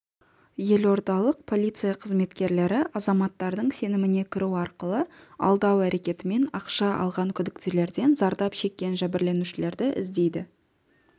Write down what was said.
елордалық полиция қызметкерлері азаматтардың сеніміне кіру арқылы алдау әрекетімен ақша алған күдіктілерден зардап шеккен жәбірленушілерді іздейді